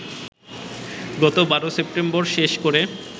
গত ১২ সেপ্টেম্বর শেষ করে